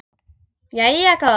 Jæja góða.